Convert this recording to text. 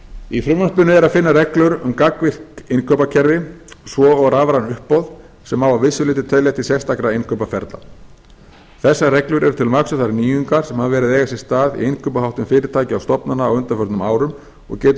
í frumvarpinu er að finna reglur um gagnvirkt innkaupakerfi svo og rafræn uppboð sem má að vissu leyti telja til sérstakra innkaupaferla þessar reglur eru til marks um þær nýjungar sem hafa verið að eiga sér stað í innkaupaháttum fyrirtækja og stofnana á undanförnum árum og getur